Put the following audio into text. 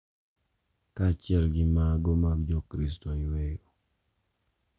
Kaachiel gi mago mag jokristo iwero,